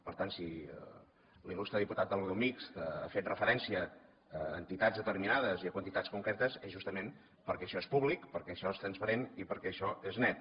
per tant si l’il·lustre diputat del grup mixt ha fet referència a entitats determinades i a quantitats concretes és justament perquè això és públic perquè això és transparent i perquè això és net